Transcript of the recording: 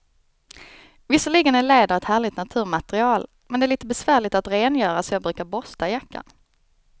Visserligen är läder ett härligt naturmaterial, men det är lite besvärligt att rengöra, så jag brukar borsta jackan.